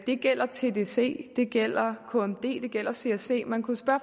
det gælder tdc det gælder kmd det gælder csc man kunne spørge